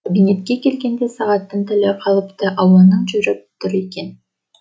кабинетке келгенде сағаттың тілі қалыпты ауаның жүріп тұр екен